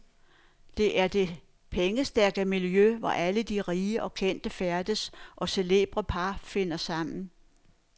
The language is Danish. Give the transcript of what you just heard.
Det er det pengestærke miljø, hvor alle de rige og kendte færdes, og celebre par finder sammen.